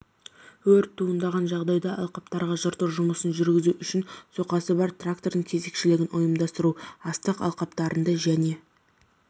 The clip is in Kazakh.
өрт туындаған жағдайда алқаптарға жырту жұмыстарын жүргізу үшін соқасы бар трактордың кезекшілігін ұйымдастыру астық алқаптарында және